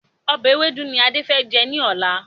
Ọbẹ̀ ewédú ni Adé fẹ jẹ́ ní ọ̀la.